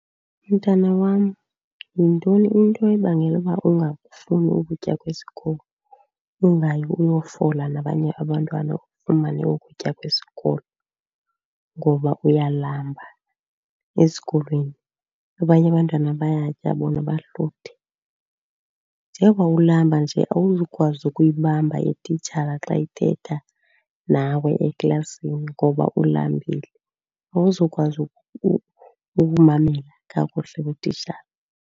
Mntana wam, yintoni into ebangela uba ungakufuni ukutya kwesikolo, ungayi uyofola nabanye abantwana ufumane ukutya kwesikolo? Ngoba uyalamba esikolweni, abanye abantwana bayatya bona bahluthe. Njengoba ulamba nje awuzukwazi ukuyibamba ititshala xa ithetha nawe eklasini ngoba ulambile, awuzukwazi ukumamela kakuhle kutitshala.